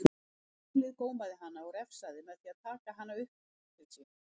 Tunglið gómaði hana og refsaði með því að taka hana upp til sín.